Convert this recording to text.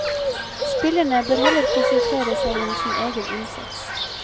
Spillerne bør heller konsentrere seg om sin egen innsats.